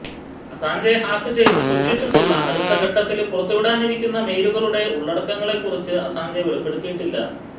Assange hack ചെയ്ത് സൂക്ഷിച്ചിട്ടുള്ള അടുത്ത ഘട്ടത്തില് പുറത്തുവിടാനിരിക്കുന്ന മെയിലുകളുടെ ഉള്ളടക്കങ്ങളെക്കുറിച്ച് അസാഞ്ചെ വെളിപ്പെടുത്തിയിട്ടില്ല